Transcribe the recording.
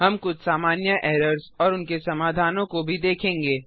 हम कुछ सामान्य एरर्स और उनके समाधानों को भी देखेंगे